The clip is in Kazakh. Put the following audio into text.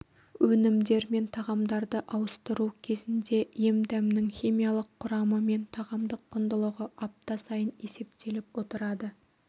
өнімдер мен тағамдарды ауыстыру кезінде емдәмнің химиялық құрамы мен тағамдық құндылығы апта сайын есептеліп отырады